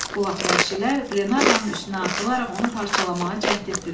Bu vaxt vəhşilər Qlenarvanın üstünə atılaraq onu parçalamağa cəhd etdilər.